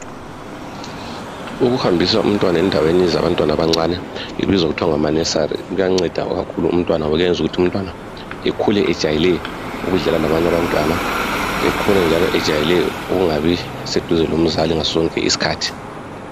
Ukuhambisa umtwana endaweni zabantwana abancane ibizwa kuthiwa ngama nursery , kuyanceda kakhulu ngoba kwenza ukuthi umntwana ekhule ejayele ukudlala labanye abantwana ekhule njalo ejayele ukungabi duze lomzali ngasosonke iskhathi